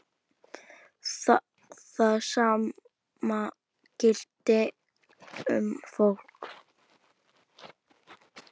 Það sama gilti um fólk.